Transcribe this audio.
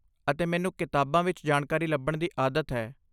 ਅਤੇ ਮੈਨੂੰ ਕਿਤਾਬਾਂ ਵਿੱਚ ਜਾਣਕਾਰੀ ਲੱਭਣ ਦੀ ਆਦਤ ਹੈ।